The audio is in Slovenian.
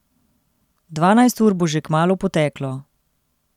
Dvanajst ur bo že kmalu poteklo.